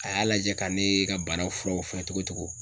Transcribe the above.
A y'a lajɛ ka ne ka bana furaw fɔ togo togo